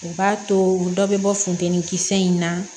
U b'a to dɔ bɛ bɔ funtɛni kisɛ in na